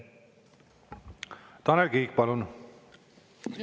Tanel Kiik, palun!